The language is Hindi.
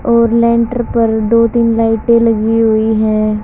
और लेंटर पर दो तीन लाइटे लगी हुई है।